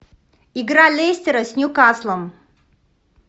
игра лестера с ньюкаслом